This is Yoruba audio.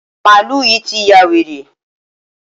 Màálù yí ti ya wèrè.